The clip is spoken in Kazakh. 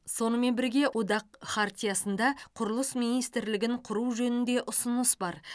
сонымен бірге одақ хартиясында құрылыс министрлігін құру жөнінде ұсыныс бар